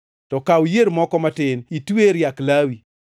To kaw yier moko matin itwe e riak lawi.